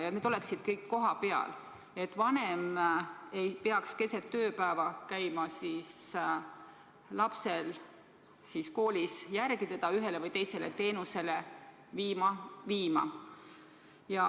Kõik need teenused oleksid kohapeal, nii et vanem ei peaks keset tööpäeva minema lapsele kooli järele, et teda ühe või teise teenuse osutaja juurde viia.